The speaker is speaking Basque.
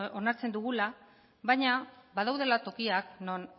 onartzen dugula baina badaudela tokiak non